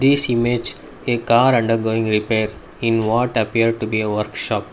this image a car under going repair in what appear to be a workshop.